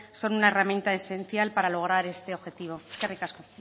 son una herramienta esencial para lograr este objetivo eskerrik asko